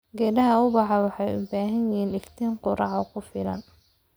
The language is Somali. Geedaha ubaxa waxay u baahan yihiin iftiin qorrax oo ku filan.